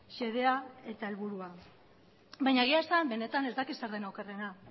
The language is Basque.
xedea eta helburua baina egia esan benetan ez dakit zer den okerrena